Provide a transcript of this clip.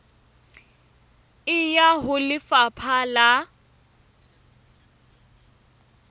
e ya ho lefapha la